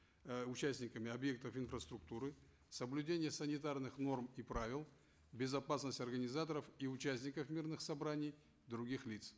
э участниками объектов инфраструктуры соблюдение санитарных норм и правил безопасность организаторов и участников мирных собраний других лиц